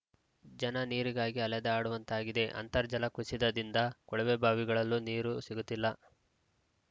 ಜನ ನೀರಿಗಾಗಿ ಅಲೆದಾಡುವಂತಾಗಿದೆ ಅಂತರ್ಜಲ ಕುಸಿತದಿಂದ ಕೊಳವೆಬಾವಿಗಳಲ್ಲೂ ನೀರು ಸಿಗುತ್ತಿಲ್ಲ